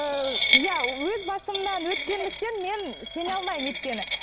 ыыы иә өз басымнан өткендіктен мен сене алмаймын өйткені